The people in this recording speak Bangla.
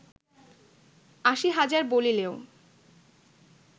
আশী হাজার বলিলেও